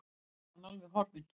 Svo var hann alveg horfinn.